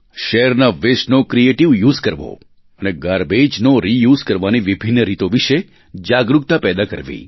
શહેરના wasteનો ક્રિએટિવ યુએસઇ કરવો અને garbageનો રિયુઝ કરવાની વિભિન્ન રીતો વિશે જાગરુકતા પેદા કરવી